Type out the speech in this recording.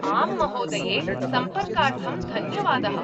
आम्, महोदये। सम्पर्कार्थं धन्यवादः।